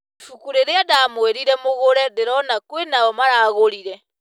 Ibuku rĩrĩa ndamwĩrire mũgure ndĩrona kwĩnao maragũrire.